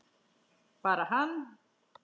Bara hann?